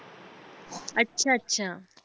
अच्छा, अच्छा.